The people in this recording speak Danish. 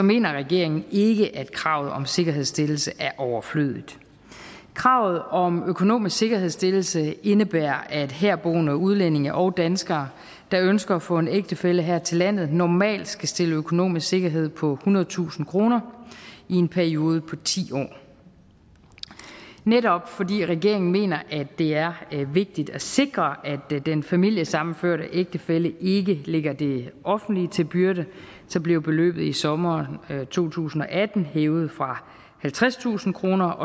mener regeringen ikke at kravet om sikkerhedsstillelse er overflødigt kravet om en økonomisk sikkerhedsstillelse indebærer at herboende udlændinge og danskere der ønsker at få en ægtefælle her til landet normalt skal stille en økonomisk sikkerhed på ethundredetusind kroner i en periode på ti år netop fordi regeringen mener at det er vigtigt at sikre at den familiesammenførte ægtefælle ikke ligger det offentlige til byrde blev beløbet i sommeren to tusind og atten hævet fra halvtredstusind kroner